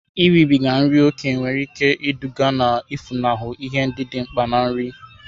Iribiga nri ókè nwere ike iduga na-efunahụ ihe ndị dị mkpa na nri.